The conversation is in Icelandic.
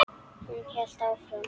Hún hélt áfram.